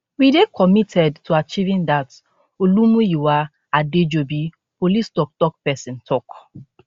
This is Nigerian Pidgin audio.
we dey committed to achieving dat olumuyiwa adejobi police toktok pesin tok